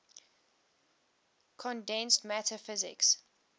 condensed matter physics